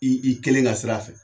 I kelen ka sira a fɛ